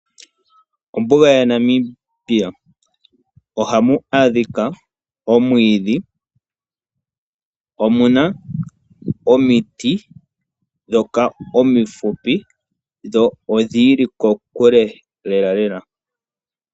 Ombuga ya Namibia Ohamu adhika omwiidhi, omuna omiti dhoka omifupi dho odhiili kokule lela.